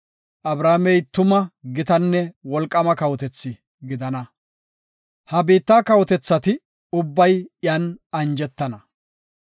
Abrahaamey tuma gitanne wolqaama kawotethi gidana. Ha biitta kawotethati ubbay iyan anjetana.